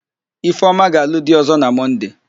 Ifeoma ga-alụ di ọ̀zọ́ na Mọnde.